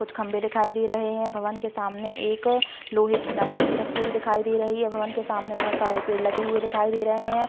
कुछ खम्बे दिखाई दे रहे हैं। भवन के सामने एक लोहे की नसैनी रखी हुई दिखाई दे रही है। भवन के सामने बहोत सारे पेड़ लगे हुए दिखाई दे रहे हैं।